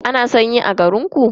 Ana sanyi a garinku?